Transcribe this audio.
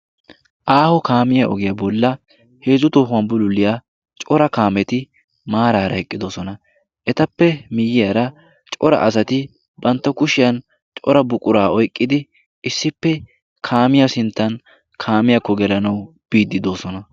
Aaho kaamiya ogiyaa bolla heezzu tohuwan bululiyaa cora kaameti maaraara eqqidosona. etappe miyyiyaara cora asati bantta kushiyan cora buquraa oiqqidi issippe kaamiya sinttan kaamiyaakko gelanau biiddi doosona.